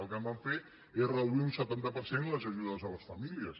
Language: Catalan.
el que van fer és reduir un setanta per cent les ajudes a les famílies